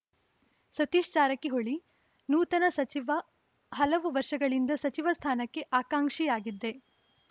ಸತೀಶ್‌ ಜಾರಕಿಹೊಳಿ ನೂತನ ಸಚಿವ ಹಲವು ವರ್ಷಗಳಿಂದ ಸಚಿವ ಸ್ಥಾನಕ್ಕೆ ಆಕಾಂಕ್ಷಿಯಾಗಿದ್ದೆ